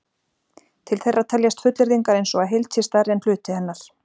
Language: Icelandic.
til þeirra teljast fullyrðingar eins og að heild sé stærri en hluti hennar